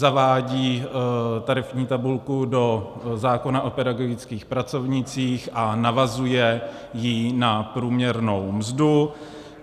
Zavádí tarifní tabulku do zákona o pedagogických pracovnících a navazuje ji na průměrnou mzdu.